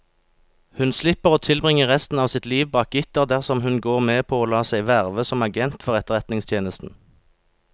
Hun slipper å tilbringe resten av sitt liv bak gitter dersom hun går med på å la seg verve som agent for etterretningstjenesten.